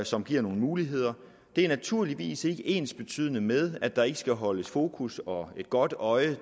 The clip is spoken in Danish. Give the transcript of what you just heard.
som giver nogle muligheder det er naturligvis ikke ensbetydende med at der ikke skal holdes fokus og et godt øje